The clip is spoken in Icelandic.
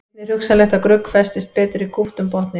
Einnig er hugsanlegt að grugg festist betur í kúptum botni.